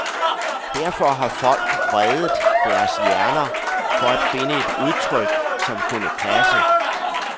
Derfor har folk vredet deres hjerner for at finde et udtryk, som kunne passe.